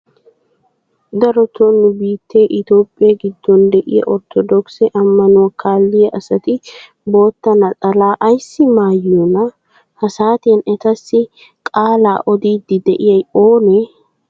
Darotoo nu biittee itoohphphee giddon de'iyaa orttoodokisse ammanuwaa kaalliyaa asati bootta naxalaa ayssi maayiyoonaa? Ha saatiyaan etassi qaalaa odiidi de'iyay oonee?